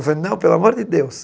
Eu falei, não, pelo amor de Deus.